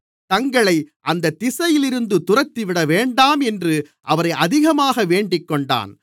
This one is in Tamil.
தங்களை அந்தத் திசையிலிருந்து துரத்திவிடவேண்டாம் என்று அவரை அதிகமாக வேண்டிக்கொண்டான்